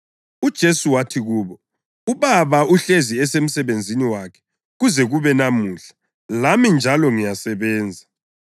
UJesu wathi kubo, “UBaba uhlezi esemsebenzini wakhe kuze kube namuhla, lami njalo ngiyasebenza.”